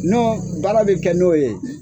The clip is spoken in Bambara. n'o baara be kɛ n'o ye